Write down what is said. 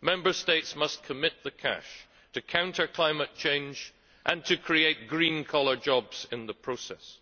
Member States must commit the cash to counter climate change and to create green collar jobs in the process,